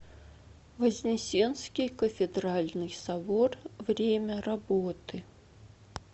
вознесенский кафедральный собор время работы